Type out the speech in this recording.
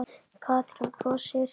Katrín brosir.